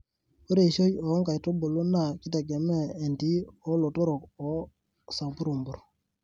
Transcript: Ore eishoi oo nkaitubuli naa kitegemea entii olotorok wo samburmbur.